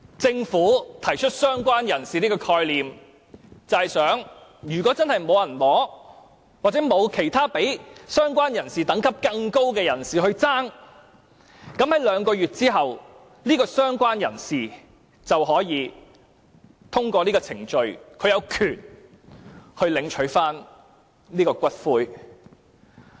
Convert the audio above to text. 政府提出"相關人士"的概念，其意思是如果真的沒有人領取骨灰，或沒有較"相關人士"等級更高的人士爭奪骨灰，在兩個月後，這位"相關人士"便可以通過程序，有權領取骨灰。